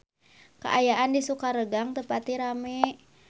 Kaayaan di Sukaregang teu pati rame